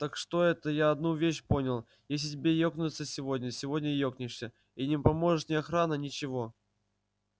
так что это я одну вещь понял если тебе екнуться сегодня сегодня и екнешься и не поможет ни охрана ничего